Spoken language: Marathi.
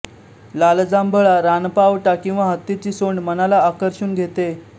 लालजांभळा रानपावटा किंवा हत्तीची सोंड मनाला आकर्षून घेते